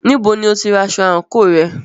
Níbo ni o tí ra aṣọ àńkò rẹ?